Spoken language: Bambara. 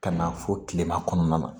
Ka na fɔ kilema kɔnɔna na